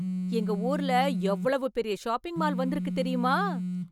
எங்க ஊர்ல எவ்வளவு பெரிய ஷாப்பிங் மால் வந்திருக்கு தெரியுமா